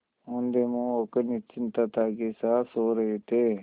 औंधे मुँह होकर निश्चिंतता के साथ सो रहे थे